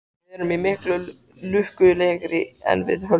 Við erum miklu lukkulegri en við höldum.